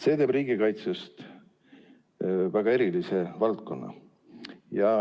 See teeb riigikaitsest väga erilise valdkonna.